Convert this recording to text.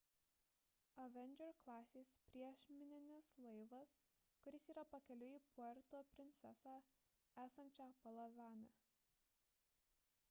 avenger klasės priešmininis laivas kuris yra pakeliui į puerto prinsesą esančią palavane